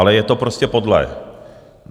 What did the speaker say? Ale je to prostě podlé.